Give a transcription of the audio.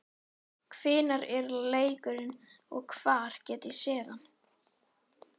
Hvenær er leikurinn og hvar get ég séð hann?